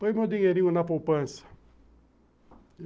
Põe meu dinheirinho na poupança.